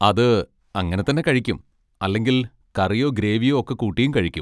അത് അങ്ങനെ തന്നെ കഴിക്കും, അല്ലെങ്കിൽ കറിയോ ഗ്രേവിയോ ഒക്കെ കൂട്ടിയും കഴിക്കും.